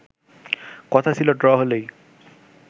কথা ছিল ড্র হলেই